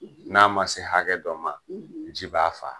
N'a ma se hakɛ dɔ ma ? ji b'a faa.